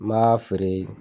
N m'a feere